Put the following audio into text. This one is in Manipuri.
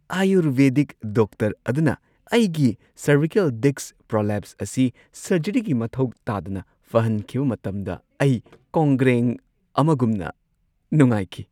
ꯑꯥꯌꯨꯔꯕꯦꯗꯤꯛ ꯗꯣꯛꯇꯔ ꯑꯗꯨꯅ ꯑꯩꯒꯤ ꯁꯔꯚꯤꯀꯦꯜ ꯗꯤꯁꯛ ꯄ꯭ꯔꯣꯂꯦꯞꯁ ꯑꯁꯤ ꯁꯔꯖꯔꯤꯒꯤ ꯃꯊꯧ ꯇꯥꯗꯅ ꯐꯍꯟꯈꯤꯕ ꯃꯇꯝꯗ ꯑꯩ ꯀꯣꯡꯒ꯭ꯔꯦꯡ ꯑꯃꯒꯨꯝꯅ ꯅꯨꯡꯉꯥꯏꯈꯤ ꯫